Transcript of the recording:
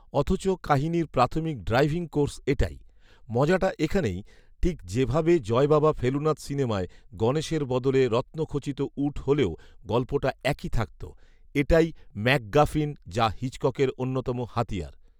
অথচ কাহিনির প্রাথমিক ড্রাইভিং কোর্স এটাই৷ মজাটা এখানেই ৷ ঠিক যে ভাবে 'জয়বাবা ফেলুনাথ' সিনেমায় গণেশের বদলে রত্ন খচিত উট হলেও গল্পটা একই থাকত৷ এটাই 'ম্যাক গাফিন', যা হিচককের অন্যতম হাতিয়ার ৷